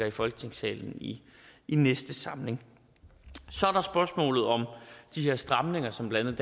i folketingssalen i næste samling så er der spørgsmålet om de her stramninger som blandt